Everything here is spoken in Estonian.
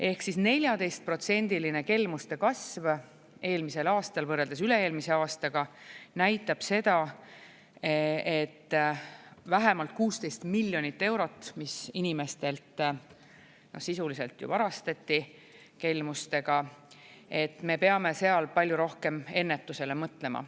Ehk 14%-line kelmuste kasv eelmisel aastal võrreldes üle-eelmise aastaga näitab seda, et vähemalt 16 miljonit eurot, mis inimestelt sisuliselt varastati kelmustega, me peame seal palju rohkem ennetusele mõtlema.